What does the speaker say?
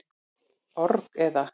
org, eða.